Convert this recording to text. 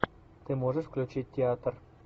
ты можешь включить театр